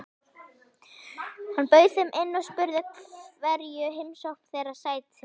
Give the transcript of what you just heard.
Hann bauð þeim inn og spurði hverju heimsókn þeirra sætti.